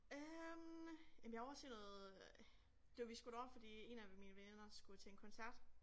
Øh jamen jeg var ovre og se noget øh det var vi skulle derover fordi 1 af mine veninder skulle til en koncert